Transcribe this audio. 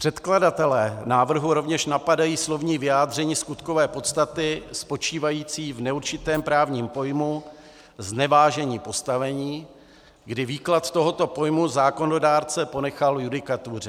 Předkladatelé návrhu rovně napadají slovní vyjádření skutkové podstaty spočívající v neurčitém právním pojmu znevážení postavením, kdy výklad tohoto pojmu zákonodárce ponechal judikatuře.